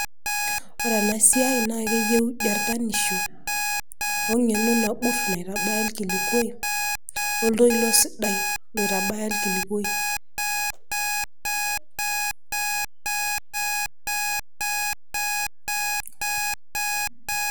ore ena siia na keyieu jartanisho we ngeno nagut naitabay irkilikuai, oltoilo sidai loitabay irkilikuai